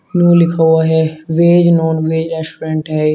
लिखा हुआ है वेज नॉनवेज रेस्टोरेंट है।